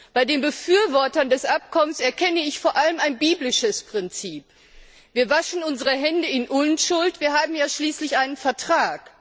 Bei den Befürwortern des Abkommens erkenne ich vor allem ein biblisches Prinzip Wir waschen unsere Hände in Unschuld, wir haben ja schließlich einen Vertrag.